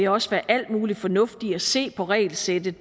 også være al mulig fornuft i at se på regelsættet